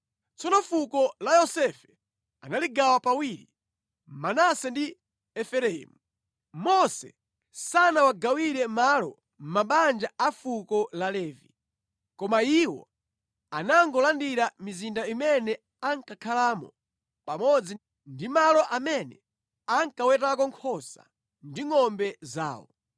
Tsono fuko la Yosefe analigawa pawiri, Manase ndi Efereimu. Mose sanawagawire malo mabanja a fuko la Levi, koma iwo anangolandira mizinda imene ankakhalamo pamodzi ndi malo amene ankawetako nkhosa ndi ngʼombe zawo.